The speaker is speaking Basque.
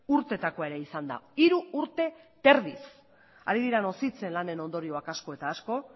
urteetakoa ere izan da hiru urte terdiz ari dira nozitzen lanen ondorioak asko eta asko